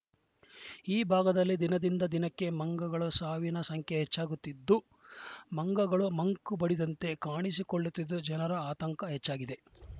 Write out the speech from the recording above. ಈ ಭಾಗದಲ್ಲಿ ದಿನದಿಂದ ದಿನಕ್ಕೆ ಮಂಗಗಳ ಸಾವಿನ ಸಂಖ್ಯೆ ಹೆಚ್ಚಾಗುತ್ತಿದ್ದು ಮಂಗಗಳು ಮಂಕು ಬಡಿದಂತೆ ಕಾಣಿಸಿಕೊಳ್ಳುತ್ತಿದ್ದು ಜನರ ಆತಂಕ ಹೆಚ್ಚಾಗಿದೆ